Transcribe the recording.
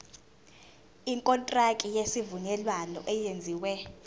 ikontraki yesivumelwano eyenziwe